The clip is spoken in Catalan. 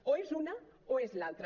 o és una o és l’altra